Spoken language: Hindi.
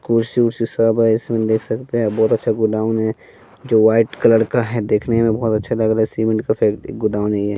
कुर्सी सब है इसमें देख सकते है इस में बहुत अच्छा गोडाउन है जो वाइट कलर का है देखने में बहुत अच्छा लग रहा है सीमेंट का फैक्ट्री गोडाउन है ये।